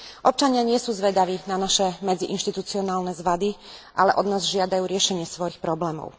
Občania nie sú zvedaví na naše medziinštitucionálne zvady, ale od nás žiadajú riešenie svojich problémov.